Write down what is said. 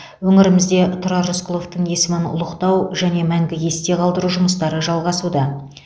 өңірімізде тұрар рысқұловтың есімін ұлықтау және мәңгі есте қалдыру жұмыстары жалғасуда